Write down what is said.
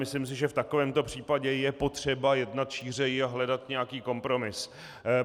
Myslím si, že v takovémto případě je potřeba jednat šířeji a hledat nějaký kompromis.